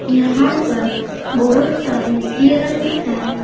यहां पर बहोत सारे हिरन हैं।